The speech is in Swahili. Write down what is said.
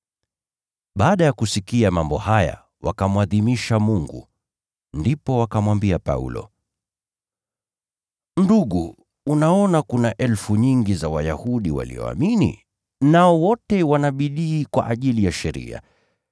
Baada ya kusikia mambo haya wakamwadhimisha Mungu. Ndipo wakamwambia Paulo, “Ndugu, unaona kulivyo na maelfu ya Wayahudi walioamini, nao wote wana juhudi kwa ajili ya sheria.